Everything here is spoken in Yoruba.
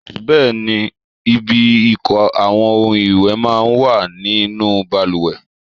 Bẹẹni, ibi ìko àwọn ohun ìwẹ̀ máa ń wà nínú bàlùwẹ̀.